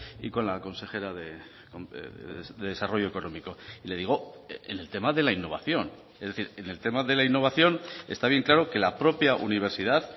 y con la consejera de desarrollo económico y le digo en el tema de la innovación es decir en el tema de la innovación está bien claro que la propia universidad